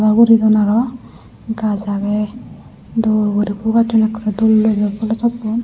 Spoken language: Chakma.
ui guridon aro gaas agey dol guri pul gassun okkorey dol dol yo polo topon.